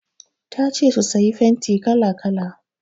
Ta ce su sayi fenti kala-kala.